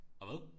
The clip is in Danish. Og hvad